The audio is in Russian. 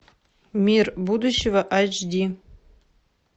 мир будущего айч ди